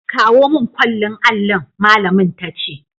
Kawo mun kwallin allin', malamin ta ce.